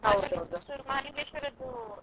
Puttur Mahalingeshwara ರದ್ದು.